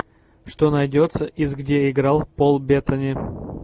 что найдется из где играл пол беттани